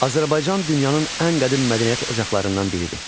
Azərbaycan dünyanın ən qədim mədəniyyət ocaqlarından biridir.